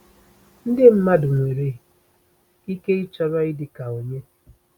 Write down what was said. Ndị mmadụ nwere ike ịchọrọ ịdị ka onye?